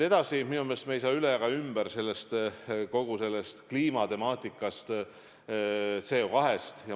Minu meelest me ei saa üle ega ümber kogu sellest kliimatemaatikast, CO2-st.